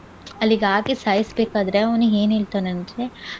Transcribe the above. ಅಲ್ಲಿಗ್ ಹಾಕಿ ಸಾಯಿಸ್ಬೆಕಾದ್ರೆ ಅವ್ನು ಏನ್ ಹೇಳ್ತಾನಂದ್ರೆ